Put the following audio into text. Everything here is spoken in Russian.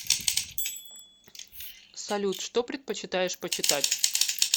салют что предпочитаешь почитать